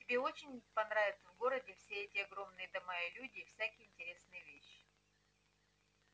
тебе очень понравится в городе все эти огромные дома и люди и всякие интересные вещи